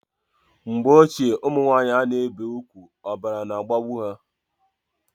Mgbe ochie ụmụnwanyị ana ebi ùgwù ọbara na agbagbu ha